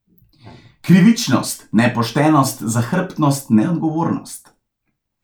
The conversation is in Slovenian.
Krivičnost, nepoštenost, zahrbtnost, neodgovornost.